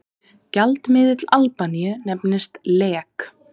Gjaldmiðill Albaníu nefnist lek.